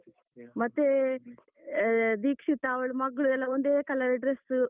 ಮತ್ತೆ ಅಹ್ ದೀಕ್ಷಿತ ಅವಳು ಮಗ್ಳು ಎಲ್ಲ ಒಂದೇ color dress.